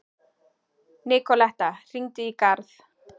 Nikoletta, hringdu í Garð.